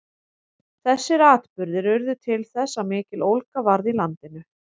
þessir atburðir urðu til þess að mikill ólga varð í landinu